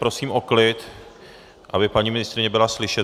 Prosím o klid, aby paní ministryně byla slyšet.